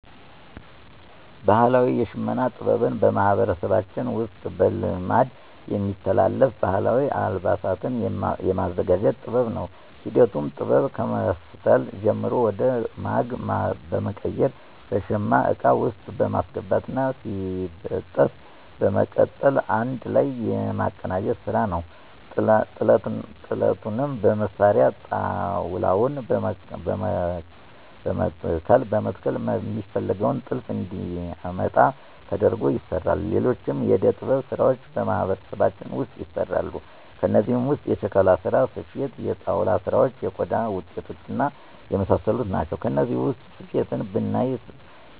ባህላዊ የሽመና ጥበብ በማህበረሰባችን ውስጥ በልማድ የሚተላለፍ ባህላዊ አልባሳትን የማዘጋጀት ጥበብ ነው። ሂደቱም ጥጥ ከመፍተል ጀምሮ ወደ ማግ በመቀየር በሸማ እቃ ውስጥ በማስገባት እና ሲበጠስ በመቀጠል አንድ ላይ የማቀናጀት ስራ ነዉ። ጥለቱንም መስሪያ ጣውላዉን በመከተል ሚፈለገውን ጥልፍ እንዲያመጣ ተደርጎ ይሰራል። ሌሎችም የእደ-ጥበብ ስራዎች በማህበረሰባችን ውስጥ ይሰራሉ። ከእነዚህም ውስጥ የሸክላ ስራ፣ ስፌት፣ የጣውላ ስራዎች፣ የቆዳ ውጤቶች እና የመሳሰሉት ናቸው። ከነዚህ ውስጥ ስፌትን ብናይ